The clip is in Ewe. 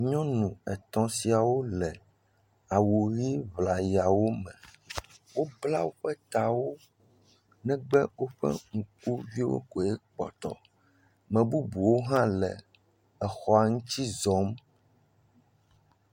Nyɔnu etɔ̃ siawo le awu ʋe ŋlayawo me. Wobla woƒe tawo negbe woƒe ŋkuviwo koe kpɔtɔ. Me bubuwo hã le exɔa ŋuti zɔm.